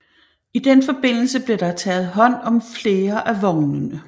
I den forbindelse blev der taget hånd om flere af vognene